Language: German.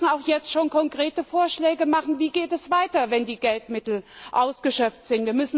Wir müssen auch jetzt schon konkrete Vorschläge machen Wie geht es weiter, wenn die Geldmittel ausgeschöpft sind?